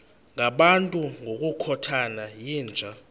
ngabantu ngokukhothana yinja